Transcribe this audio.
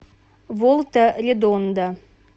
волта редонда